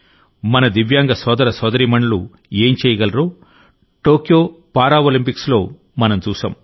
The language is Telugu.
మన దివ్యాంగ సోదర సోదరీమణులు ఏం చేయగలరో టోక్యో పారాలింపిక్స్లో మనం చూశాం